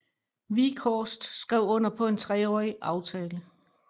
Wieghorst skrev under på en treårig aftale